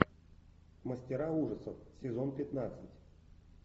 мастера ужасов сезон пятнадцать